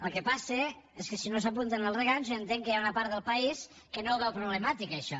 el que passa és que si no s’hi apunten els regants jo entenc que hi ha una part del país que no ho veu problemàtic això